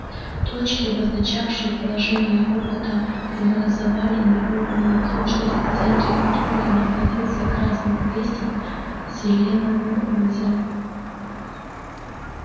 точки обозначавшие положение робота образовали неровную окружность в центре которой находился красный крестик селеновое озеро